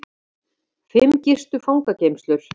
Fimm gistu fangageymslur